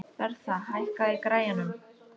Bertha, hækkaðu í græjunum.